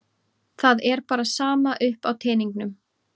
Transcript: Það er bara sama upp á teningnum.